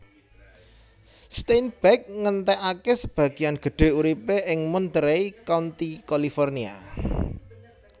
Steinbeck ngentèkaké sebagéan gedhé uripé ing Monterey County California